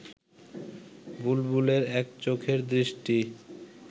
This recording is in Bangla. বুলবুলের এক চোখের দৃষ্টি